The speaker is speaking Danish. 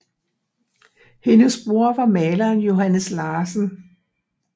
Hendes bror var maleren Johannes Larsen